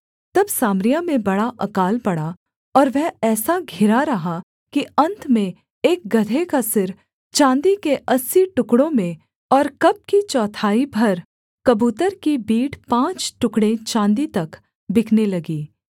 तब सामरिया में बड़ा अकाल पड़ा और वह ऐसा घिरा रहा कि अन्त में एक गदहे का सिर चाँदी के अस्सी टुकड़ों में और कब की चौथाई भर कबूतर की बीट पाँच टुकड़े चाँदी तक बिकने लगी